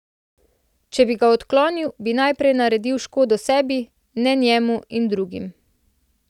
Če bi ga odklonil, bi najprej naredil škodo sebi, ne njemu in drugim.